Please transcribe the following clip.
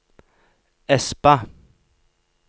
Espa